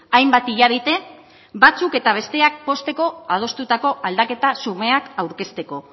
hainbat hilabete batzuk eta besteak pozteko adostutako aldaketa xumeak aurkezteko